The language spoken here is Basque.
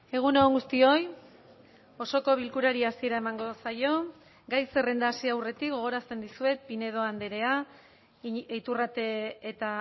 egun on guztioi osoko bilkurari hasiera emango zaio gai zerrenda hasi aurretik gogorazten dizuet pinedo andrea iturrate eta